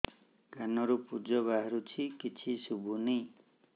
କାନରୁ ପୂଜ ବାହାରୁଛି କିଛି ଶୁଭୁନି